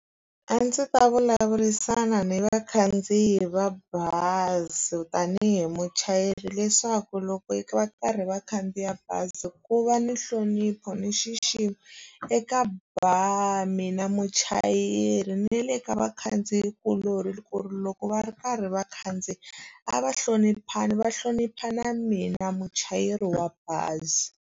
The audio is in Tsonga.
A ndzi ta vulavurisana ni vakhandziyi va bazi tanihi muchayeri leswaku loko va karhi va khandziya bazi ku va ni nhlonipho ni nxiximo eka ba mina muchayeri na le ka vakhandziyikulori ku ri loko va ri karhi vakhandziyi a va hloniphani va hlonipha na mina muchayeri wa bazi.